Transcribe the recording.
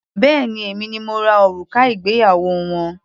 Béèni èmi ni mo rà òrùka ìgbéyàwó wọn.